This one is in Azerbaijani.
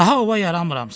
Daha ova yaramıram.